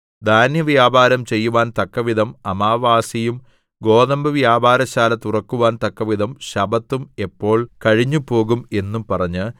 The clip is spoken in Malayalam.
ധാന്യവ്യാപാരം ചെയ്യുവാൻ തക്കവിധം അമാവാസിയും ഗോതമ്പുവ്യാപാരശാല തുറന്നുവക്കുവാൻ തക്കവിധം ശബ്ബത്തും എപ്പോൾ കഴിഞ്ഞുപോകും എന്ന് പറഞ്ഞ്